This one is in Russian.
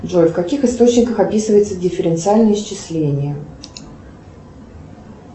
джой в каких источниках описывается дифференциальное исчисление